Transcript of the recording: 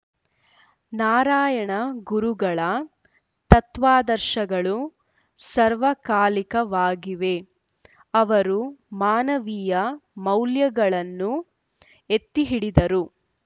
ನಾರಾಯಣಗುರುಗಳ ತತ್ವಾದರ್ಶಗಳು ಸರ್ವಕಾಲಿಕವಾಗಿವೆ ಅವರು ಮಾನವೀಯ ಮೌಲ್ಯಗಳನ್ನು ಎತ್ತಿಹಿಡಿದರು